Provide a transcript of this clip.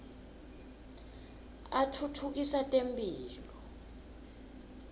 atfutfukisa temphilo